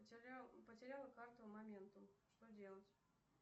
потеряла карту моментум что делать